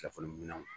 Telefɔni minɛ